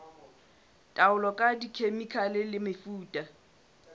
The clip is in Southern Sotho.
taolo ka dikhemikhale le mefuta